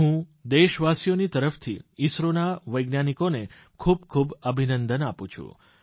હું દેશવાસીઓ તરફથી ઇસરોના વૈજ્ઞાનિકોને ખૂબ ખૂબ અભિનંદન આપું છું